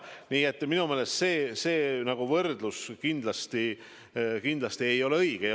Nii et minu meelest see võrdlus kindlasti ei ole õige.